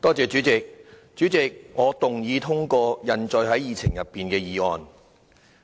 主席，我動議通過印載於議程內的議案。